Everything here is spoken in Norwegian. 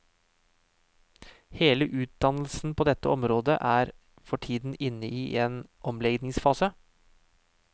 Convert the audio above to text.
Hele utdannelsen på dette området er for tiden inne i en omleggingsfase.